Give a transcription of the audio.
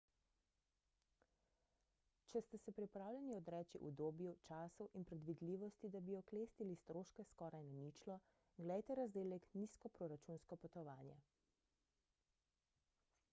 če ste se pripravljeni odreči udobju času in predvidljivosti da bi oklestili stroške skoraj na ničlo glejte razdelek nizkoproračunsko potovanje